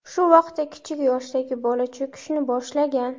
Shu vaqtda kichik yoshdagi bola cho‘kishni boshlagan.